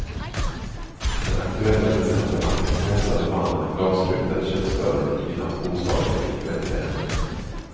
Den aktuella decembernatten krossade mannen en glasruta i köksdörren i kvinnans bostad vilket väckte henne.